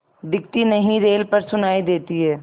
दिखती नहीं रेल पर सुनाई देती है